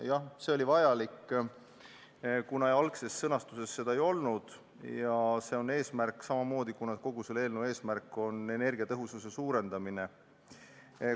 Jah, see muudatus oli vajalik, kuna algses sõnastuses seda ei olnud ja see on samuti eesmärk, sest kogu selle eelnõu eesmärk on energiatõhusust suurendada.